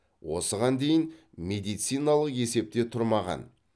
осыған дейін медициналық есепте тұрмаған